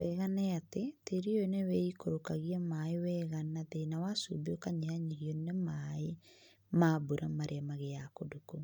Wega nĩ atĩ ,tĩĩri ũyũ nĩwĩikũrũkagia maaĩ wega na thĩna wa cumbĩ ũkanyihanyihĩonĩ na maĩ ma mbura marĩa magĩaga kũndũ kũu.